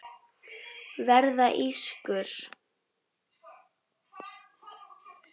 Verða ískur.